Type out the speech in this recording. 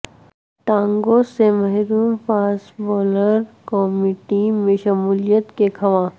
ٹانگوں سے محروم فاسٹ بولر قومی ٹیم میں شمولیت کے خواہاں